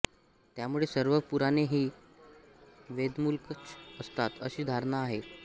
त्यामुळे सर्व पुराणे ही वेदमूलकच असतात अशी धारणा आहे